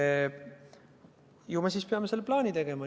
Aga ju me siis peame selle plaani tegema.